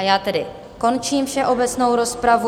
A já tedy končím všeobecnou rozpravu.